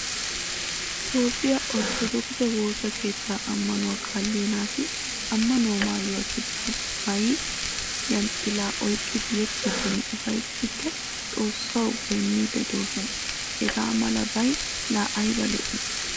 Toophphiyaa orttodokise woosa keettaa amanuwaa kaaliyaa nati amanuwaa maayuwaa kitaaba maayay yanxila oyqqay yexxidinne ufayttidi xoossawu goynnidi deosona. Hagaamala bay la ayba lo'i?